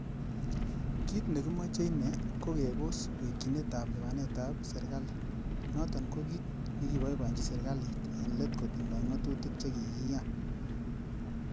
Kit nekimoche ine ko kebos wekyinetab lipanet ab serkali, noton ko kit nekiboiboenyi serkalit en let kotindoi ngatutik che kikiyan.